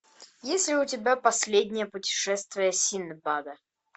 есть ли у тебя последнее путешествие синдбада